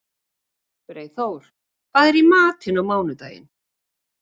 Freyþór, hvað er í matinn á mánudaginn?